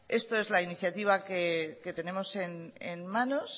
esta es la iniciativa que tenemos en manos